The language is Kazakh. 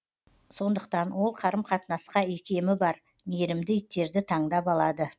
сондықтан ол қарым қатынасқа икемі бар мейірімді иттерді таңдап алады